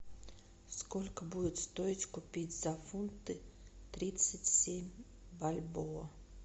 сколько будет стоить купить за фунты тридцать семь бальбоа